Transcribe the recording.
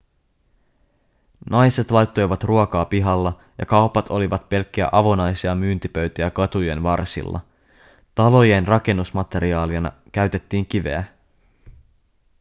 naiset laittoivat ruokaa pihalla ja kaupat olivat pelkkiä avonaisia myyntipöytiä katujen varsilla talojen rakennusmateriaalina käytettiin kiveä